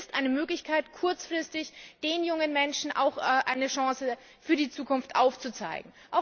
Es ist eine Möglichkeit, kurzfristig den jungen Menschen auch eine Chance für die Zukunft aufzuzeigen.